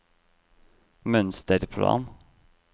mønsterplan